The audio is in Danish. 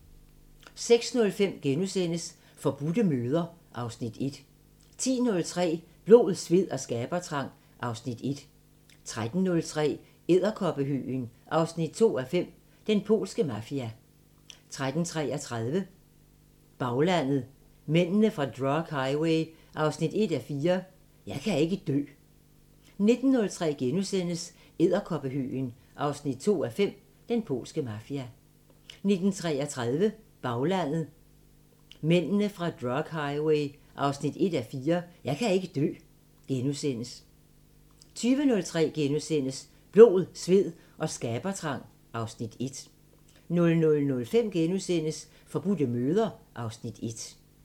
06:05: Forbudte møder (Afs. 1)* 10:03: Blod, sved og skabertrang (Afs. 1) 13:03: Edderkoppehøgen 2:5 – Den polske mafia 13:33: Baglandet: Mændene fra drug highway 1:4 – "Jeg kan ikke dø" 19:03: Edderkoppehøgen 2:5 – Den polske mafia * 19:33: Baglandet: Mændene fra drug highway 1:4 – "Jeg kan ikke dø" * 20:03: Blod, sved og skabertrang (Afs. 1)* 00:05: Forbudte møder (Afs. 1)*